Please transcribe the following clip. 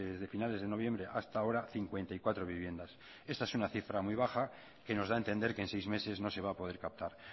de finales de noviembre hasta ahora cincuenta y cuatro viviendas esta es una cifra muy baja que nos da a entender que en seis meses no se va a poder captar